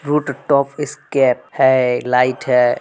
Roof top है। Light है।